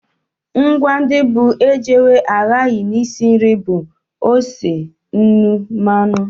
Ngwa ndị bụ ejewe ahaghị n'isi nri bụ ose, nnu, mmanụ